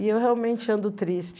E eu realmente ando triste.